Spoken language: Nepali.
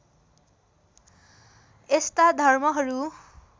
यस्ता धर्महरू